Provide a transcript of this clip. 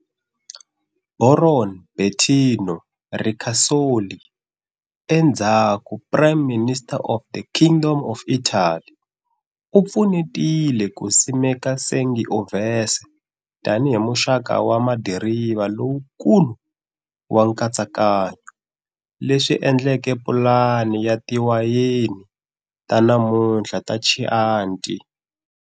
Baron Bettino Ricasoli, endzhaku Prime Minister of the Kingdom of Italy, u pfunetile ku simeka Sangiovese tani hi muxaka wa madiriva lowukulu wa nkatsakanyo, leswi endleke pulani ya tiwayeni ta namuntlha ta Chianti.